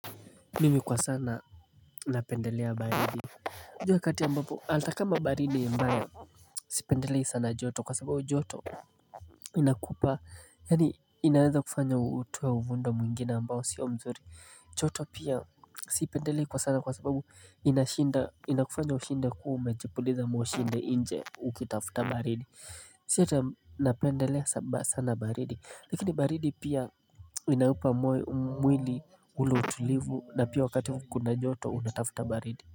Mimi kwa sana napendelea baridi juu wakati ambapo ata kama baridi ni mbaya Sipendelei sana joto kwa sababu joto inakupa yaani inaweza kufanya utoe uvundo mwingine ambao sio mzuri joto pia siipendelei kwa sana kwa sababu inashinda inakufanya ushinde kua umejipuliza mwoshi nje ukitafuta baridi Si ata napendelea sana baridi Lakini baridi pia inaupa mwili ule utulivu na pia wakati kuna joto unatafuta baridi.